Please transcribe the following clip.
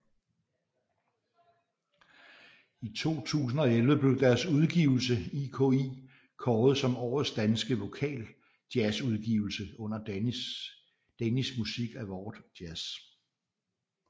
I 2011 blev deres udgivelse IKI kåret som Årets Danske Vokaljazzudgivelse under Danish Music Award Jazz